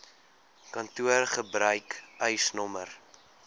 kantoor gebruik eisnr